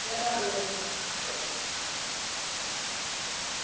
ഞാൻ പറഞ്ഞതെരട്ടെ